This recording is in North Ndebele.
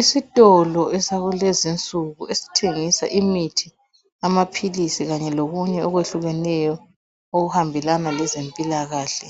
Isitolo sakulezi insuku esithengisa imithi, amaphilisi lokunye okwehlukeneyo okuhambelana lezempilakahle.